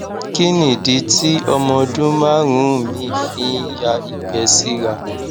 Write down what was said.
kí nìdí tí ọmọ ọdún márùnún mi fi ń ya igbẹ sira